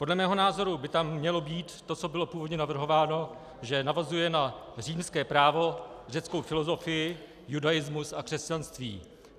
Podle mého názoru by tam mělo být to, co bylo původně navrhováno, že navazuje na římské právo, řeckou filozofii, judaismus a křesťanství.